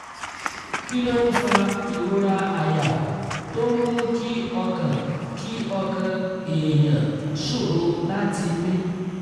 kí ló ń fa ìrora àyà tó ń mú kí ọkàn kí ọkàn èèyàn ṣòro láti mí?